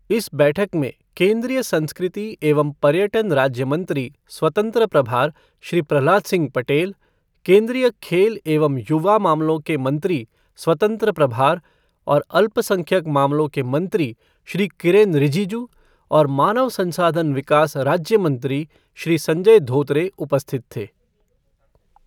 इस बैठक में केन्द्रीय संस्कृति एवं पर्यटन राज्य मंत्री स्वतंत्र प्रभार श्री प्रहलाद सिंह पटेल, केन्द्रीय खेल एवं युवा मामलों के मंत्री स्वतंत्र प्रभार और अल्पसंख्यक मामलों के मंत्री श्री किरेनरिजिजू और मानव संसाधन विकास राज्य मंत्री श्री संजय धोत्रे उपस्थित थे।